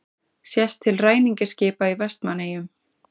Sést til ræningjaskipa í Vestmannaeyjum.